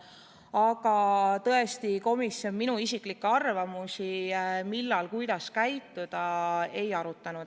Aga tõesti, komisjon minu isiklikke arvamusi, millal ja kuidas käituda, ei arutanud.